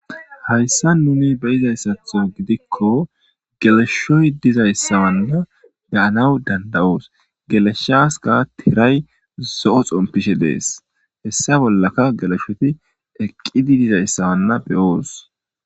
Hayssan nuuni be7izayssatho gidikko geleshshoy dizayssawanna be7anawu dandda7oos; geleshshaaskka thiray zo7o xomppishe de7ees; hessa bollaka geleshothi eqqidi dizayssawanna be7oos.